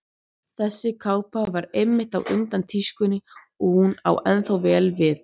Þessi kápa var einmitt á undan tískunni og hún á ennþá vel við.